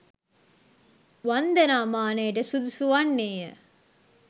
වන්දනා මානයට සුදුසු වන්නේය.